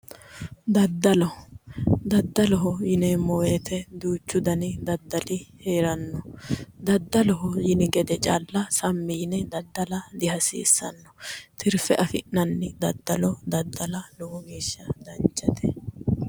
Daddalo. Daddaloho yineemmo woyite duuchu dani daddali heeranno. Daddaloho yini gede calla sammi yine daddala dihasiissanno. Tirfe afi'nanni daddalo daddala lowo geeshsha danchate.